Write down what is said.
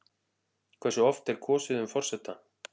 Hversu oft er kosið um forseta?